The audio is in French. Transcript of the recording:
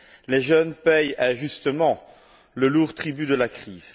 Les jeunes paient injustement le lourd tribut de la crise.